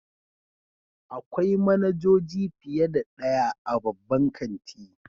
Akwai manajoji fiye da ɗaya a babban kanti.